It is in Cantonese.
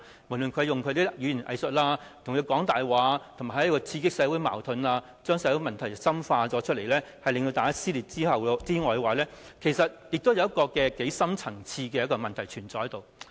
無論是他用語言"偽術"、講大話或刺激社會矛盾，將社會問題深化而令社會撕裂外，其實亦有一個深層次的問題存在。